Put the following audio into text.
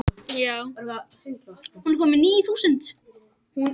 Í spurningakeppni eins og Gettu betur er gott og blessað að slysast á rétt svar.